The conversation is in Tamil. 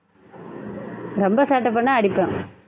ரொம்ப சேட்டை பண்ணா அடிப்பேன்